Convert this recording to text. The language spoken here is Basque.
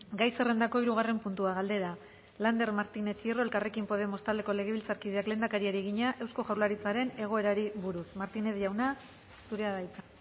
gai zerrendako hirugarren puntua galdera lander martínez hierro elkarrekin podemos taldeko legebiltzarkideak lehendakariari egina eusko jaurlaritzaren egoerari buruz martinez jauna zurea da hitza